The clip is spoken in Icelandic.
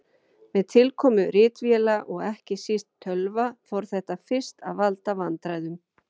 Með tilkomu ritvéla og ekki síst tölva fór þetta fyrst að valda vandræðum.